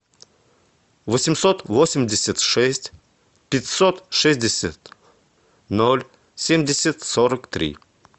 восемьсот восемьдесят шесть пятьсот шестьдесят ноль семьдесят сорок три